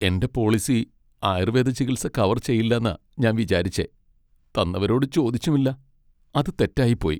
എന്റെ പോളിസി ആയുർവേദ ചികിത്സ കവർ ചെയ്യില്ലെന്നാ ഞാൻ വിചാരിച്ചെ , തന്നവരോട് ചോദിച്ചുമില്ല. അത് തെറ്റായിപ്പോയി.